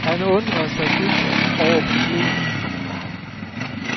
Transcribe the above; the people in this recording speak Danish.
Han undrede sig dybt over problemet.